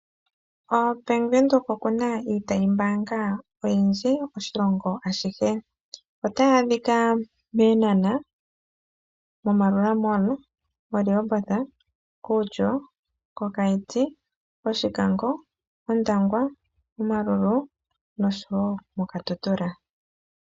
O Bank Windhoek okuna iitayi mbaanga oyendji moshilongo ashihe. Otayi adhika mEenhanha, Marua Mall, Rehoboth, Outyo, Keetmanshop,,